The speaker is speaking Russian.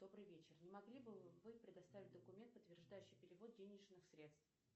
добрый вечер не могли бы вы предоставить документ подтверждающий перевод денежных средств